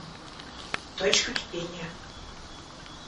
точка кипения